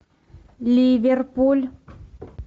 ливерпуль